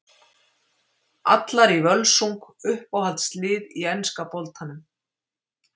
Allar í Völsung Uppáhalds lið í enska boltanum?